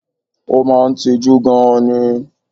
O máa n tijú gan ni